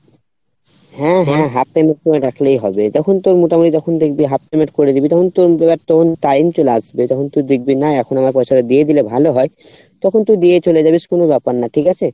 হ্যাঁ হ্যাঁ half payment করে রাখলেই হবে যখন তোর মোটামটি যখন দেখবি half payment করে দিবি তখন তোর ওগুলার তোর time চলে আসবে যখন তু দেখবি না এখন আমার পয়সাটা দিয়ে দিলে ভালো হয় তখন তু দিয়ে চলে যাবি কোনো ব্যাপার না ঠিক আছে?